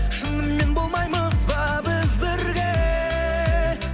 шынымен болмаймыз ба біз бірге